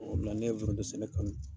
O de la ne ye foronto sɛnɛ kanu.